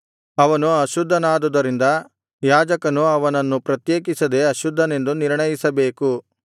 ಅವನು ಅಶುದ್ಧನಾದುದರಿಂದ ಯಾಜಕನು ಅವನನ್ನು ಪ್ರತ್ಯೇಕಿಸದೆ ಅಶುದ್ಧನೆಂದು ನಿರ್ಣಯಿಸಬೇಕು